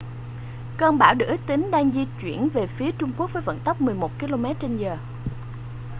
cơn bão được ước tính đang di chuyển về phía trung quốc với vận tốc 11 km/giờ